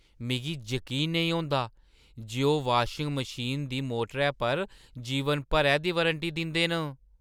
मिगी जकीन नेईं औंदा जे ओह् वाशिंग मशीना दी मोटरै पर जीवन भरै दी वारंटी दिंदे न।